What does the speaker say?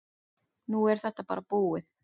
Nú er þetta bara búið.